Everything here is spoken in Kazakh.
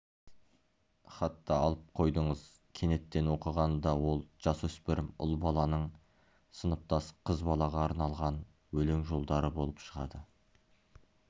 сіз хатты алып қойдыңыз кенеттен оқығанда ол жасөспірім ұл баланың сыныптас қыз балаға арналған өлең жолдары болып шығады